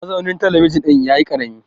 mazaunin talabijin ɗin ya yi karami